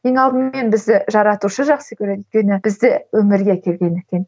ең алдымен бізді жаратушы жақсы көреді өйткені бізді өмірге әкелген